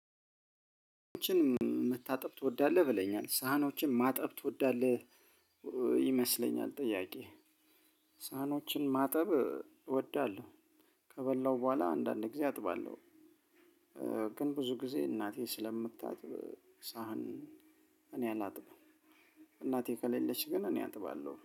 መታጠብ ትወዳለህ ብለኛል ሳህኖችን ማጠብ ትወዳለህ? ይመስለኛል ጥያቄ ሳህኖችን ማጠብ እወዳለሁ፤ ከበላሁ በኋላ አንዳንድ ጊዜ አጥባለሁ። ግን ብዙ ጊዜ እናቴ ስለምታጥብ ሳህን እኔ አላጥብም፣ እናቴ ከሌለች ግን እኔ አጥባለሁ።